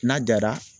N'a jara